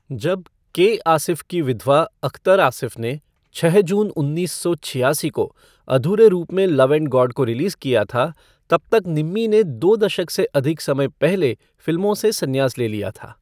जब के आसिफ़ की विधवा अख्तर आसिफ़ ने छः जून उन्नीस सौ छियासी को अधूरे रूप में लव एंड गॉड को रिलीज़ किया था, तब तक निम्मी ने दो दशक से अधिक समय पहले फिल्मों से संन्यास ले लिया था।